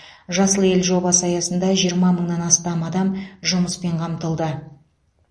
жасыл ел жобасы аясында жиырма мыңнан астам адам жұмыспен қамтылды